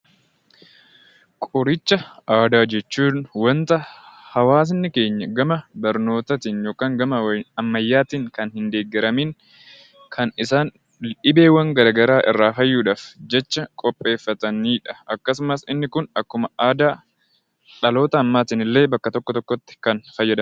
Qoricha aadaa jechuun waanta hawaasni keenya gama barnootaatiin fi ammayyaatiin kan hin deeggaramiin kan isaan dhibeewwaan garaagaraa irraa fayyuuf jecha qopheeffataniidha akkasumas inni Kun illee dhaloota ammaatiin bakka tokko tokkotti kan fayyadamanidha.